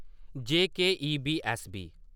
JK. EBSB.